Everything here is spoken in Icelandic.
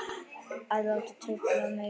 Að láta trufla mig.